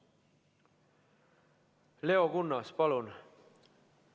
Leo Kunnas, palun!